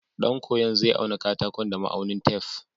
Ɗan koyo zai auna katakon da ma'aunin tef.